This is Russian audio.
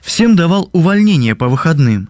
всем давал увольнение по выходным